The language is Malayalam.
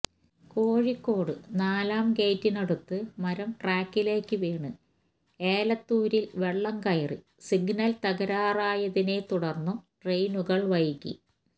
കോഴിക്കോട് നാലാം ഗേറ്റിനടുത്ത് മരം ട്രാക്കിലേക്ക് വീണ് ഏലത്തൂരില് വെള്ളം കയറി സിഗ്നല് തകരാറിലായതിനെ തുടര്ന്നും ട്രെയിനുകള് വൈകി